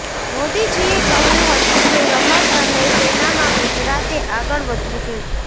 મોદીજીએ કહ્યું હતું કે રમત અને સેનામાં ગુજરાતે આગળ વધવું જોઈએ